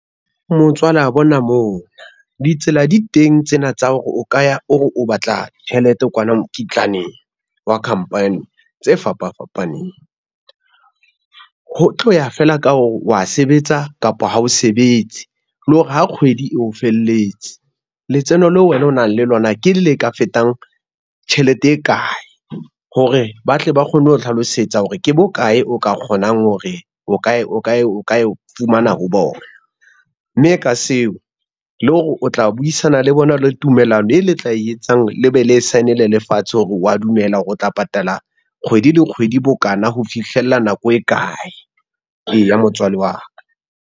Motswala bona mona, ditsela di teng tsena tsa hore o ka ya ore o batla tjhelete kwana mokitlaneng wa company tse fapafapaneng. Ho tloya fela ka hore wa sebetsa kapa ha o sebetse, le hore ha kgwedi e o felletse letseno leo wena o nang le lona, ke le ka fetang tjhelete e kae hore ba tle ba kgone ho hlalosetsa hore ke bokae o ka kgonang hore o ka e fumana ho bona, mme ka seo le hore o tla buisana le bona le tumellano e le tla etsang le be le sign-ele lefatshe hore wa dumela hore o tla patala kgwedi le kgwedi bo kana ho fihlella nako e kae. Eya motswalle wa ka.